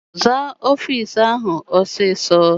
Zaa ọfịịsi ahụ ọsọ ọsọ!